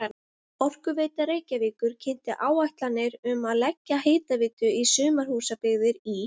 Orkuveita Reykjavíkur kynnti áætlanir um að leggja hitaveitu í sumarhúsabyggðir í